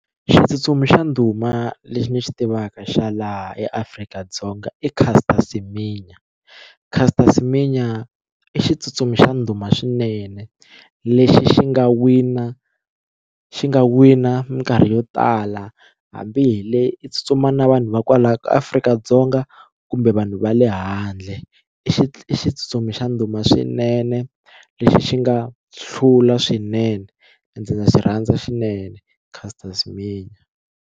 Xitsutsumi xa ndhuma lexi ni xi tivaka xa laha eAfrika-Dzonga i Caster Semenya Caster Semenya i xitsutsumi xa ndhuma swinene lexi xi nga wina xi nga wina minkarhi yo tala hambi hi le i tsutsuma na vanhu va kwala Afrika-Dzonga kumbe vanhu va le handle i xi i xitsutsumi xa ndhuma swinene lexi xi nga hlula swinene na xi rhandza swinene Caster Semenya.